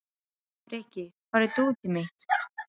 Frikki, hvar er dótið mitt?